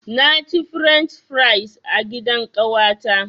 Na ci french fries a gidan ƙawata.